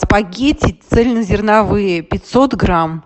спагетти цельнозерновые пятьсот грамм